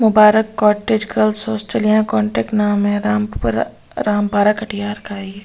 मुबारक cottage girls hostel यहाँ contact नाम है रामपुर रामपारा कटिहार का है ये ।